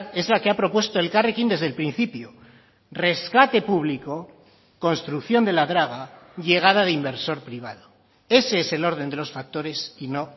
es la que ha propuesto elkarrekin desde el principio rescate público construcción de la draga llegada de inversor privado ese es el orden de los factores y no